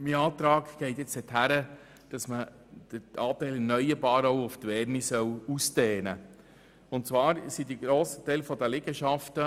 Der Anteil der erneuerbaren Energie soll gemäss meinem Antrag auch auf die Wärme ausgedehnt werden.